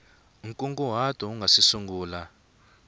nkunguhato u nga si sungula